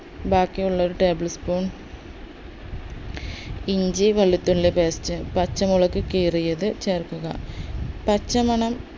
ബാക്കിയുള്ളൊരു tablespoon ഇഞ്ചി വെളുത്തുള്ളി paste പച്ചമുളക് കീറിയത് ചേർക്കുക പച്ചമണം